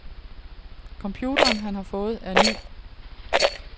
Computeren, han har fået, er ny.